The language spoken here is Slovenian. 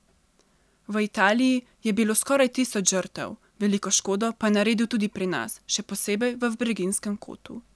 V Italiji je bilo skoraj tisoč žrtev, veliko škodo pa je naredil tudi pri nas, še posebej v Breginjskem kotu.